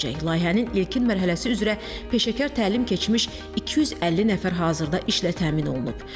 Layihənin ilkin mərhələsi üzrə peşəkar təlim keçmiş 250 nəfər hazırda işlə təmin olunub.